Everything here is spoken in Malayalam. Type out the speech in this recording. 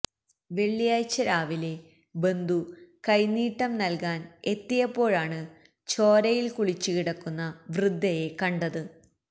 വെള്ളിയാഴ്ച രാവിലെ ബന്ധു കൈനീട്ടം നല്കാന് എത്തിയപ്പോഴാണ് ചോരയില് കുളിച്ച് കിടക്കുന്ന വൃദ്ധയെ കണ്ടത്